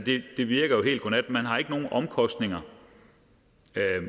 det virker jo helt godnat man har ikke nogen omkostninger